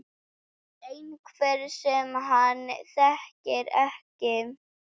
Einhver sem hann þekkir ekki.